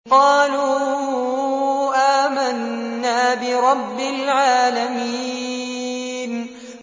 قَالُوا آمَنَّا بِرَبِّ الْعَالَمِينَ